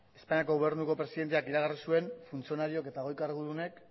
espainiako gobernuko presidenteak iragarri zuen funtzionarioak eta goi kargudunek